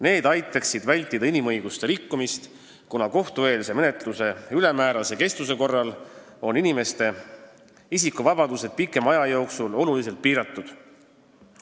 Need aitaksid vältida inimõiguste rikkumisi, kuna kohtueelse menetluse ülemäärase kestuse korral on ju inimeste isikuvabadused pikema aja jooksul oluliselt piiratud.